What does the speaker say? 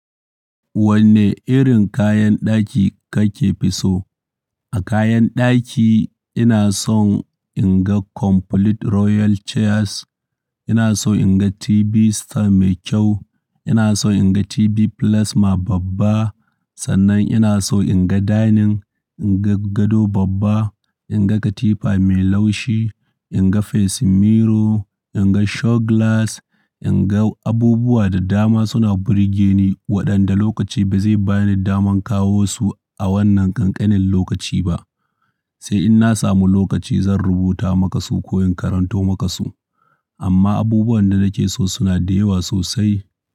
Wanne irin kayan ɗaki kake fi so? A kayan ɗaki ina son in ga complete royal chairs, ina so in ga TV stand mai kyau, ina so in ga TV plasma babba, sannan ina so in ga dining, in ga gado babba, in ga katifa mai laushi, in ga facing mirror, in ga show glass, in ga abubuwa da dama suna burge ni waɗanda lokaci ba zai bani daman kawo su a wannan ƙanƙanin lokaci ba. Sai in na samu lokaci zan rubuta maka su ko in karanto maka su. Amma abubuwan da nake so suna da yawa sosai.